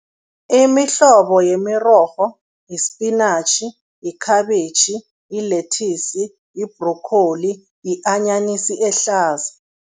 Imihlobo yemirorho, yisipinatjhi, yikhabitjhi, yilethisi, yi-broccoli yi-anyanisi ehlaza.